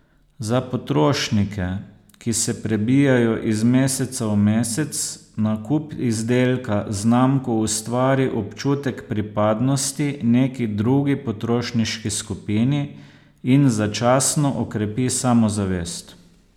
Za potrošnike, ki se prebijajo iz meseca v mesec, nakup izdelka z znamko ustvari občutek pripadnosti neki drugi potrošniški skupini in začasno okrepi samozavest.